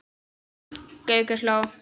Gaukur hló.